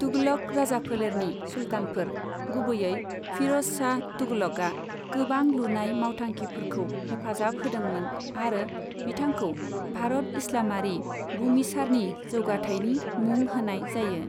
तुगलक राजाफोलेरनि सुल्तानफोर, गुबैयै फिर'जशाह तुगलकआ गोबां लुनाय मावथांखिफोरखौ हेफाजाब होदोंमोन आरो बिथांखौ भारत इस्लामारि बुमिसारनि जौगाथायनि मुं होनाय जायो।